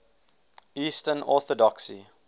eastern orthodoxy